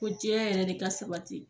Ko diɲɛ yɛrɛ de ka sabati.